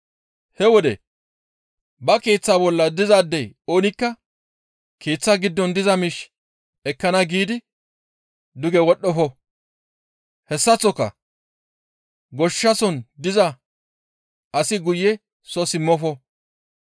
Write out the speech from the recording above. He wode ba keeththa bolla dizaadey oonikka keeththa giddon diza miish ekkana giidi duge wodhdhofo; hessaththoka goshsha soon diza asi guye soo simmofo.